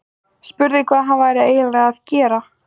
Spurði hvað hann væri eiginlega að gera.